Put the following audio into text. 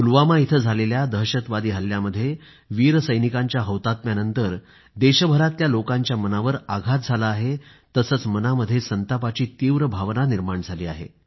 पुलवामा इथं झालेल्या दहशतवादी हल्ल्यामध्ये वीर सैनिकांच्या हौतात्म्यानंतर देशभरामधल्या लोकांच्या मनावर आघात झाला आहे तसंच मनामध्ये संतापाची तीव्र भावना निर्माण झाली आहे